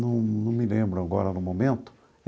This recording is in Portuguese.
Não não me lembro agora no momento.